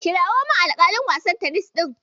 Kirawo min alƙalin wasan tenis ɗin.